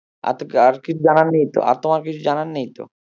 আর কিছু জানার নেই তো আর তোমার কিছু জানার নেই তো?